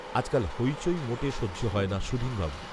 আজকাল হৈচৈ মোটে সহ্য হয় না সুধীনবাবুর